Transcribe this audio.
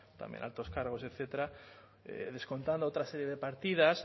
también altos cargos etcétera descontando otra serie de partidas